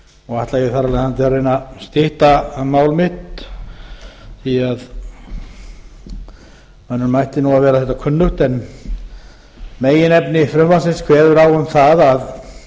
og ætla ég þar af leiðandi að reyna að stytta mál mitt því að mönnum ætti nú að vera þetta kunnugt meginefni frumvarpsins kveður á um það að